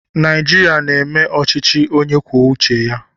Naijiria na-eme ọchịchị onye kwuo uche ya.